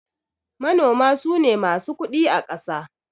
Manoma sune masu kudi akasa